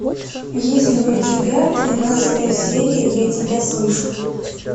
есть ли у тебя тринадцатая серия я тебя слышу